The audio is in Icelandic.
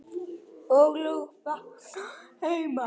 ólög vakna heima.